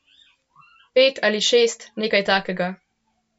Pet ali šest, nekaj takega.